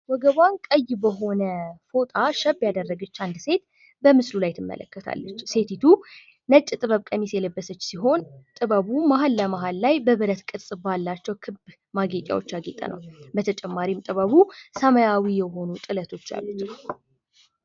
ወገቧን ቀይ በሆነ ፍጣ ሸብ ያደረገች አንድት ሴት በምስሉ ላይ ትመለከታለች ሴቲቱ ነጭ ጥበብ ቀሚስ የለበሰች ሲሆን ጥበቡ መሀል ለመሀል ላይ በብረት ቅርጽ ባላቸው ክብ ማጌጫዎች ያጌጠ ነው። በተጨማሪም ጥበቡ ሰማያዊ ጥለቶች ያሉት ነው።